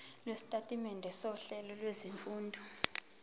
lwesitatimende sohlelo lwezifundo